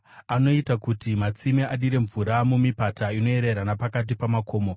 Anoita kuti matsime adire mvura mumipata; inoyerera napakati pamakomo.